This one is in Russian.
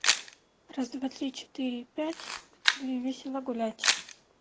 раз-два-три-четыре-пять весело гулять